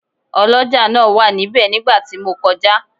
Ọlọ́jà náà wà níbẹ̀ nígbà tí mo kọjá